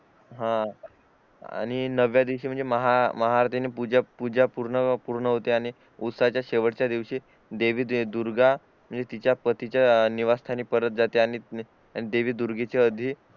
हा आणि नव्या दिवशी महाआरती ने पूजा पूर्ण पूर्ण होते आणि उस्तासह च्या शेवटच्या दिवशी देवी दुर्गा म्हणजे तिच्या पतीच्या निवास्थानी परत जाते आणि देवी दुर्गेच्या